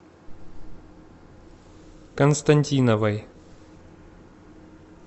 константиновой